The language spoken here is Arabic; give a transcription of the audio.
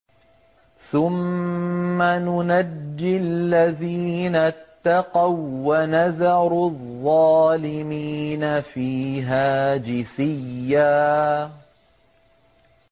ثُمَّ نُنَجِّي الَّذِينَ اتَّقَوا وَّنَذَرُ الظَّالِمِينَ فِيهَا جِثِيًّا